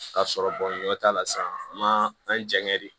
Ka sɔrɔ bɔ ni dɔ t'a la sisan a ma an janɲɛ de